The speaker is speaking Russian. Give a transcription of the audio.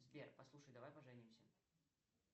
сбер послушай давай поженимся